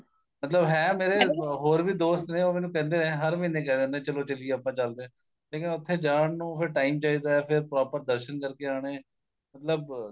ਮਤਲਬ ਹੈ ਮੇਰੇ ਹੋਰ ਵੀ ਦੋਸਤ ਨੇ ਉਹ ਮੈਨੂੰ ਕਹਿ ਦਿੰਦੇ ਨੇ ਚਲੋ ਚੱਲੀਏ ਆਪਾਂ ਚੱਲਦੇ ਆ ਲੇਕਿਨ ਉਥੇ ਜਾਣ ਨੂੰ ਫੇਰ time ਚਾਹੀਦਾ ਫੇਰ proper ਦਰਸ਼ਨ ਕਰਕੇ ਆਣੇ ਮਤਲਬ